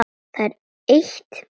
Það er eitt, minn kæri.